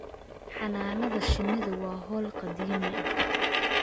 Xannaanada shinnidu waa hawl qadiimi ah.